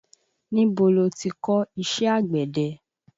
Níbo lo ti kò iṣẹ́ àgbẹ̀de?